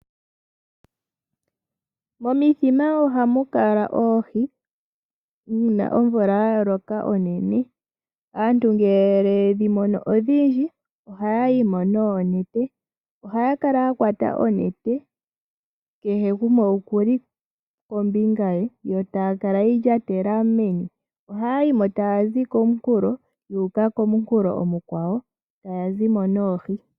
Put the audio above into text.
Momithima ohamu kala oohi uuna omvula ya loka onene. Aantu ngele ye dhi mono odhindji ohaya yi mo noonete. Ohaya kala ya kwata onete kehe gumwe oku li kombinga ye yo taya kala ye yi lyatela mevi. Ohaya yi mo taya zi komunkulo yu uka komunkulo omukwawo taya zi mo noohi.